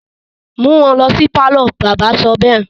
mú wọn lọ sí pálọ̀! bàbá sọ bẹ́ẹ̀.